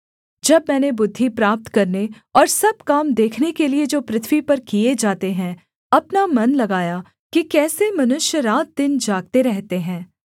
जब मैंने बुद्धि प्राप्त करने और सब काम देखने के लिये जो पृथ्वी पर किए जाते हैं अपना मन लगाया कि कैसे मनुष्य रातदिन जागते रहते हैं